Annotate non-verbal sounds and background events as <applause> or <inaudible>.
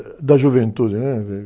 da juventude, né? <unintelligible>